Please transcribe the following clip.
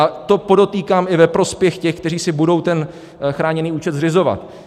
A to, podotýkám, i ve prospěch těch, kteří si budou ten chráněný účet zřizovat.